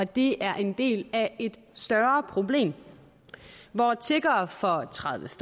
det er en del af et større problem hvor tiggere for tredive til